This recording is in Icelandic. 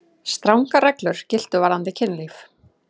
Strangar reglur giltu varðandi kynlíf.